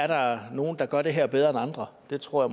der er nogle der gør det her bedre end andre det tror